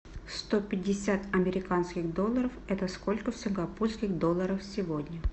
сто пятьдесят американских долларов это сколько в сингапурских долларах сегодня